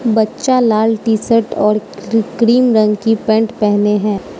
बच्चा लाल T shirt और क्रीम रंग की पैंट पहने हैं।